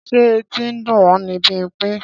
Ṣé etí ń dùn ọ́ ni Bímpé?